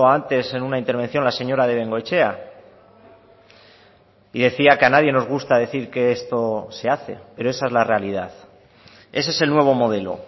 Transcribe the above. antes en una intervención la señora de bengoechea y decía que a nadie nos gusta decir que esto se hace pero esa es la realidad ese es el nuevo modelo